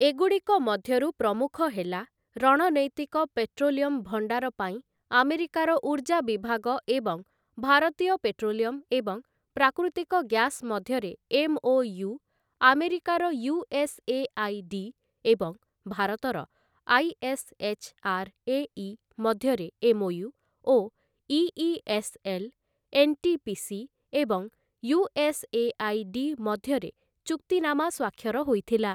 ଏଗୁଡ଼ିକ ମଧ୍ୟରୁ ପ୍ରମୁଖ ହେଲା ରଣନୈତିକ ପେଟ୍ରୋଲିୟମ ଭଣ୍ଡାର ପାଇଁ ଆମେରିକାର ଉର୍ଜା ବିଭାଗ ଏବଂ ଭାରତୀୟ ପେଟ୍ରୋଲିୟମ ଏବଂ ପ୍ରାକୃତିକ ଗ୍ୟାସ ମଧ୍ୟରେ ଏମ୍‌.ଓ.ୟୁ, ଆମେରିକାର ୟୁ.ଏସ୍‌.ଏ.ଆଇ.ଡି. ଏବଂ ଭାରତର ଆଇ.ଏସ୍‌.ଏଚ୍‌.ଆର୍‌.ଏ.ଇ. ମଧ୍ୟରେ ଏମ୍‌.ଓ.ୟୁ. ଓ ଇ.ଇ.ଏସ୍‌.ଏଲ୍‌., ଏନ୍‌.ଟି.ପି.ସି. ଏବଂ ୟୁ.ଏସ୍‌.ଏ.ଆଇ.ଡି. ମଧ୍ୟରେ ଚୁକ୍ତିନାମା ସ୍ୱାକ୍ଷର ହୋଇଥିଲା ।